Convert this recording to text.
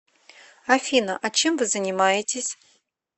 афина а чем вы занимаетесь